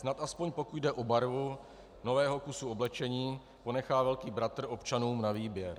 Snad aspoň pokud jde o barvu nového kusu oblečení, ponechá velký bratr občanům na výběr.